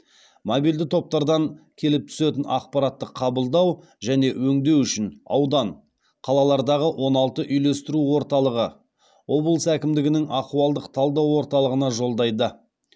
мобильді топтардан келіп түсетін ақпаратты қабылдау және өңдеу үшін аудан қалалардағы он алты үйлестіру орталығы облыс әкімдігінің ахуалдық талдау орталығына жолдайды